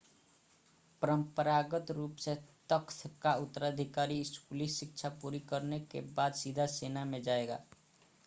परंपरागत रूप से तख़्त का उत्तराधिकारी स्कूली शिक्षा पूरी करने के बाद सीधे सेना में जाएगा